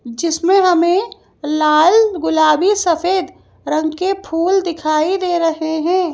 जिसमें हमें लाल गुलाबी सफेद रंग के फूल दिखाई दे रहे हैं।